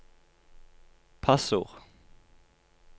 passord